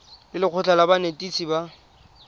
le lekgotlha la banetetshi ba